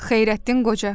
Xeyrətdin qoca.